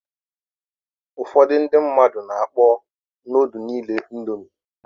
Ụfọdụ ndị mmadụ na-akpọ nudul niile indomi.